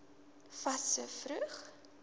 fas so vroeg